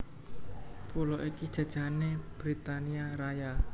Pulo iki jajahané Britania Raya